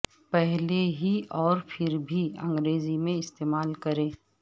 پہلے ہی اور پھر بھی انگریزی میں استعمال کریں